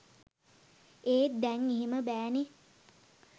ඒත් දැන් එහෙම බෑ නේ